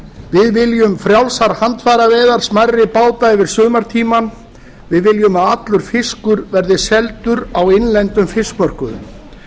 við viljum frjálsar handfæraveiðar smærri báta yfir sumartímann við viljum að allur fiskur verði seldur á innlendum fiskmörkuðum